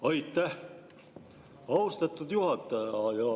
Aitäh, austatud juhataja!